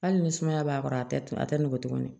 Hali ni sumaya b'a kɔrɔ a tɛ a tɛ nɔgɔn tuguni